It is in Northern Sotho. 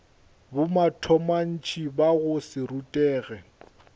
bomatontshe ba go se rutege